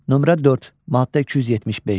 Nömrə 4, maddə 275.